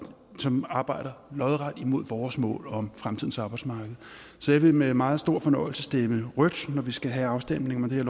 som arbejder lodret imod vores mål om fremtidens arbejdsmarked så jeg vil med meget stor fornøjelse stemme rødt når vi skal have afstemningen om det her